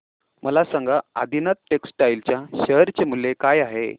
मला सांगा आदिनाथ टेक्स्टटाइल च्या शेअर चे मूल्य काय आहे